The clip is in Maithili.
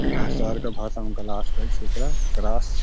शहर के भाषा में ग्लास कहे छै एकरा ग्लास --